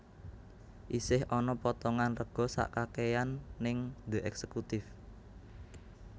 Isih ana potongan rego sak kakean ning The Executive